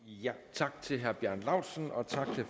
tak til herre bjarne laustsen og tak